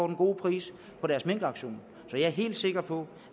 den gode pris på deres minkauktion så jeg er helt sikker på